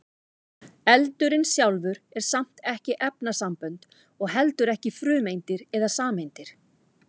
eldurinn sjálfur er samt ekki efnasambönd og heldur ekki frumeindir eða sameindir